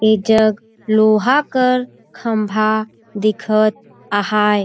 ऐ जग लोहा कर खंभा दिखत आहाए।